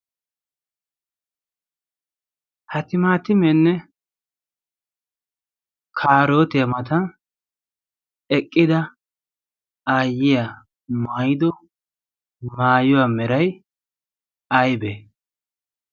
ha timaatimeenne kaarootiyaa mata eqqida aayyiya maayido maayuwaa meray aybee?